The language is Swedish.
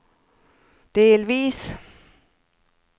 delvis